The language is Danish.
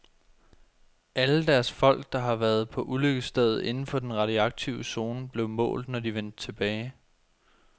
Alle deres folk, der havde været på ulykkesstedet inden for den radioaktive zone, blev målt, når de vendte tilbage.